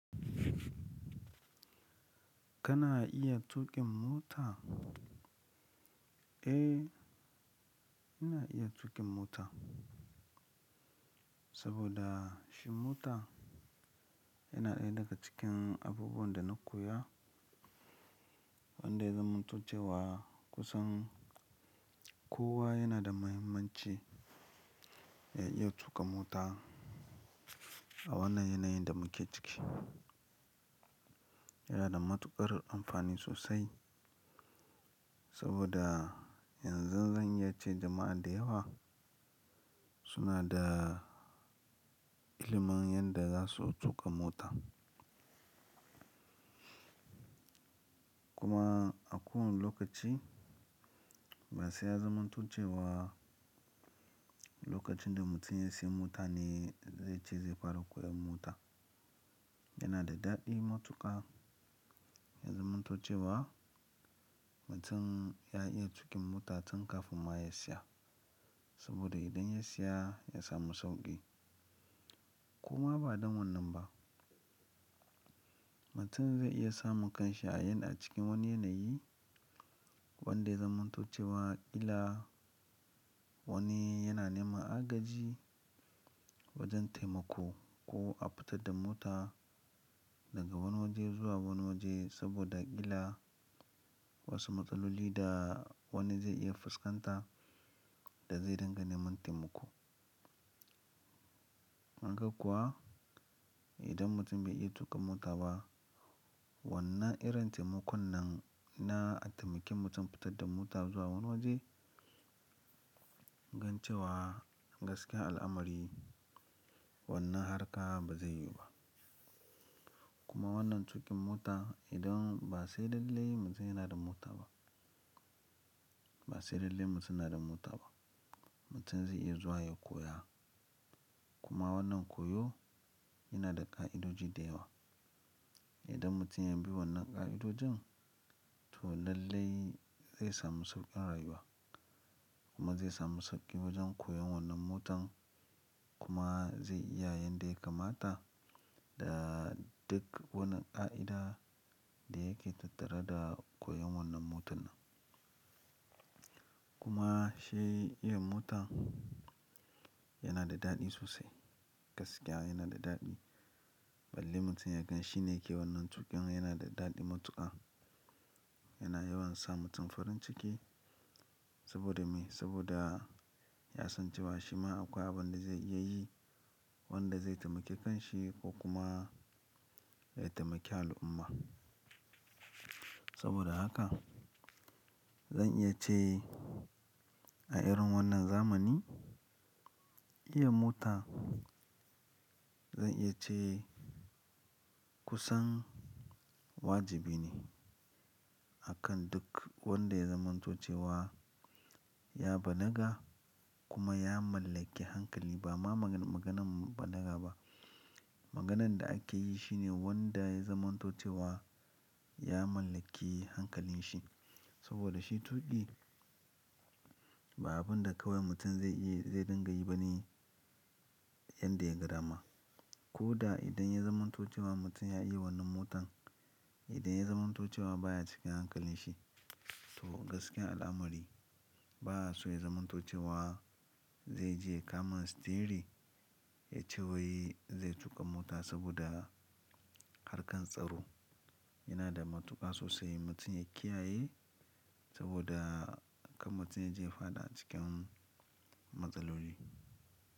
Kana iya tuƙin mota? Eh, ina iya tuƙin mota. Saboda shi mota yana ɗaya daga cikin abubuwan da na koya wanda ya zamanto cewa kusan kowa yana da muhimmanci ya iya tuƙa mota a wannan yanayin da muke ciki. Yana da matuƙar amfani sosai saboda yanzu zan iya ce jama'a da yawa suna da ilimin yadda za su tuƙa mota. Kuma a kowani lokaci ba sai ya zamanto cewa lokacin da mutum ya siya mota ne zai ce zai fara koyan mota. Yana da daɗi matuƙa ya zamantuce wa mutum ya iya tuƙin mota tun kafin ma ya siya. Saboda idan ya siya ya samu sauƙi. Koma ba don wannan ba, mutum zai iya samun kanshi a yan a cikin wani yanayi wanda ya zamanto cewa ƙila wani yana neman agaji wajen taimako ko a fitar da mota daga wani waje zuwa wani waje saboda ƙila wasu matsaloli da wani zai iya fuskanta da zai dinga neman taimako. Kaga kuwa idan mutum bai iya tuƙa mota ba, wannan irin taimakon nan na taimakin mutum fitar da mota zuwa wani waje, gancewa gaskiya al'amari wannan harka ba zai yiwu ba. Kuma wannan tuƙin mota idan ba sai lallai mutum yana da mota ba, ba sai lallai mutum yana da mota ba, mutum zai iya zuwa ya koya. Kuma wannan koyo yana da ƙa'idoji da yawa. Idan mutum ya bi wannan ƙa'idojin to lallai zai samu sauƙin rayuwa kuma zai samu sauƙi wajen koyon wannan motan kuma zai iya yanda ya kamata da duk wani ƙa'ida da yake tattare da koyon wannan motan nan. Kuma shi iya mota yana da daɗi sosai. Gaskiya yana da daɗi. Balle mutum ya gan shi ne yake wannan tuƙin yana da daɗi matuƙa. Yana yawan sa mutum farin ciki saboda me? Saboda ya san cewa shi ma akwai abin da zai iya yi wanda zai taimake kanshi ko kuma zai taimake al'umma. Saboda haka zan iya ce a irin wannan zamani, iya mota zan iya ce kusan wajibi ne akan duk wanda ya zamanto cewa ya balaga kuma ya mallaki hankali ba ma magan-maganan balaga ba. Maganan da ake yi shine wanda ya zamanto cewa ya mallaki hankalin shi. Saboda shi tuƙi ba abun da kawai mutum zai iya zai dinga yi bane yanda ya ga dama. Ko da idan ya zamanto cewa mutum ya iya wannan motan, idan ya zamanto cewa baya cikin hankalin shi to gaskiyar al'amari ba'a so ya zamanto cewa zai je kama sitiyari ya ce wai zai tuƙa mota saboda harkar tsaro yana da matuƙa sosai mutum ya kiyaye saboda kar mutum ya je ya fada cikin matsaloli.